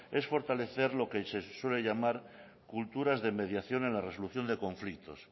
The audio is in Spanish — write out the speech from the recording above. es fortalecer lo que se suele llamar culturas de mediación en la resolución de conflictos